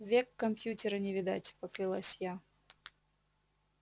век компьютера не видать поклялась я